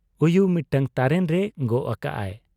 ᱩᱭᱩ ᱢᱤᱫᱴᱟᱹᱝ ᱛᱟᱨᱮᱱ ᱨᱮ ᱜᱚᱜ ᱟᱠᱟᱜ ᱟᱭ ᱾